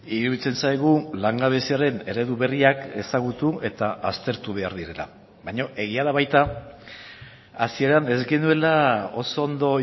iruditzen zaigu langabeziaren eredu berriak ezagutu eta aztertu behar direla baina egia da baita hasieran ez genuela oso ondo